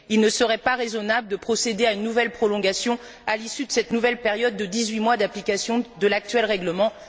Il ne serait pas raisonnable de procéder à une nouvelle prolongation à l'issue de cette nouvelle période de dix huit mois d'application de l'actuel règlement.